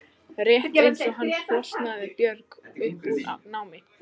Rétt eins og hann flosnaði Björg upp úr námi.